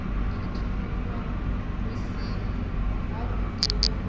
khethululwa hu si havhuḓi ho